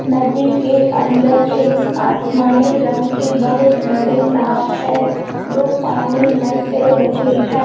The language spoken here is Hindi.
नदी के अंदर एक आसमानी रंग की एक बहुत बड़ी नांव है जो पानी मे चल रही है।